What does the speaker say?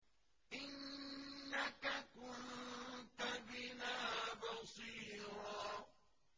إِنَّكَ كُنتَ بِنَا بَصِيرًا